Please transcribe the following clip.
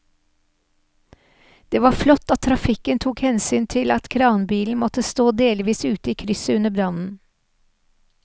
Det var flott at trafikken tok hensyn til at kranbilen måtte stå delvis ute i krysset under brannen.